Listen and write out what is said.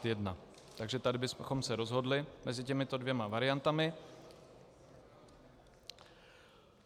Takže tady bychom se rozhodli mezi těmito dvěma variantami.